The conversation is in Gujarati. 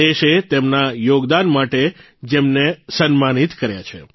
દેશે તેમના યોગદાન માટે જેમને સન્માનિત કર્યા છે